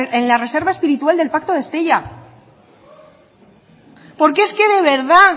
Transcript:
en la reserva espiritual del pacto de estella porque es que de verdad